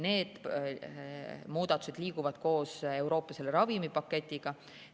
Need muudatused liiguvad koos Euroopa ravimipaketiga.